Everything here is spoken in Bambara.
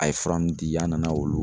A ye fura mun di an nana olu